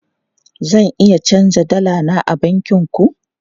Zan iya canja dala na a bankin ku?